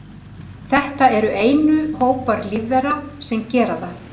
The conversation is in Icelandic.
Þetta eru einu hópar lífvera sem gera það.